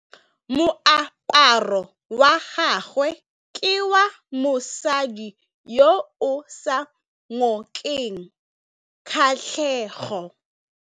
Moaparô wa gagwe ke wa mosadi yo o sa ngôkeng kgatlhegô.